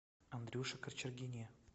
андрюше кочергине